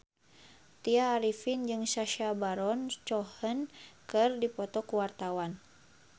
Tya Arifin jeung Sacha Baron Cohen keur dipoto ku wartawan